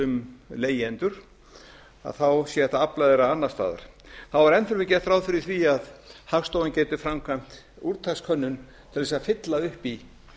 um leigjendur þá sé hægt að afla þeirra annars staðar þá er enn fremur gert ráð fyrir því að hagstofan geti framkvæmt úrtakskönnun til þess að fylla upp í